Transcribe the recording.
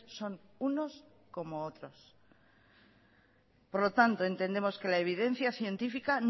son unos como otros por lo tanto entendemos que la evidencia científica